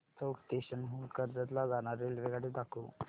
चौक station हून कर्जत ला जाणारी रेल्वेगाडी दाखव